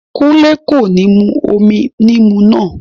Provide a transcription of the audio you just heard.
Kúnlé kò ní mú omi níìmù náà